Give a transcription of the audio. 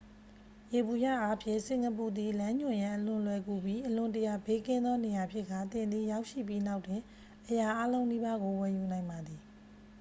ယေဘုယျအားဖြင့် စင်ကာပူသည် လမ်းညွှန်ရန် အလွန်လွယ်ကူပြီး အလွန်တရာ ဘေးကင်းသော နေရာဖြစ်ကာ သင်သည် ရောက်ရှိပြီးနောက်တွင် အရာအားလုံးနီးပါးကို ဝယ်ယူနိုင်ပါသည်